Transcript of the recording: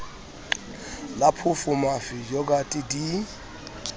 la phoofo mafi yogathe di